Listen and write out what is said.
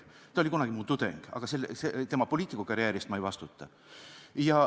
Ta oli kunagi mu tudeng, aga tema poliitikukarjääri eest ma ei vastuta.